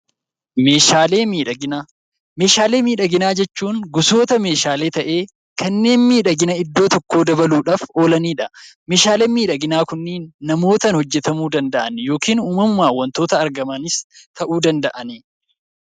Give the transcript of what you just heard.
Meeshaalee miidhaginaa Meeshaalee miidhaginaa jechuun gosoota meeshaalee ta'ee, kanneen miidhagina iddoo tokkoo dabaluudhaaf oolani dha. Meeshaaleen miidhaginaa kunniin namootaan hojjetamuu danda'a yookiin uumamumaan wantoota argamanis ta'uu danda'a.